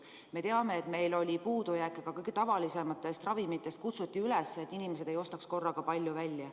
Me teame, et meil oli puudus ka kõige tavalisematest ravimitest, kutsuti üles, et inimesed ei ostaks korraga palju välja.